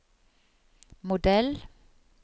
modell